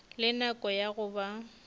le nako ya go ba